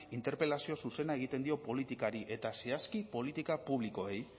interpelazio zuzena egiten dio politikari eta zehazki politika publikoei